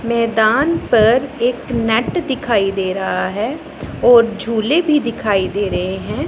मैदान पर एक नेट दिखाई दे रहा है और झूले भी दिखाई दे रहे हैं।